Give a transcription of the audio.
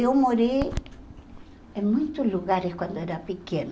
Eu morei em muitos lugares quando era pequena.